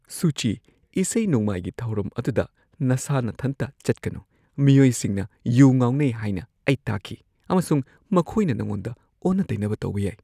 ꯁꯨꯆꯤ ꯫ ꯏꯁꯩ-ꯅꯣꯡꯃꯥꯏꯒꯤ ꯊꯧꯔꯝ ꯑꯗꯨꯗ ꯅꯁꯥ ꯅꯊꯟꯇ ꯆꯠꯀꯅꯨ꯫ ꯃꯤꯑꯣꯏꯁꯤꯡꯅ ꯌꯨ ꯉꯥꯎꯅꯩ ꯍꯥꯏꯅ ꯑꯩ ꯇꯥꯈꯤ ꯑꯃꯁꯨꯡ ꯃꯈꯣꯏꯅ ꯅꯉꯣꯟꯗ ꯑꯣꯟꯅ-ꯇꯩꯅꯕ ꯇꯧꯕ ꯌꯥꯏ꯫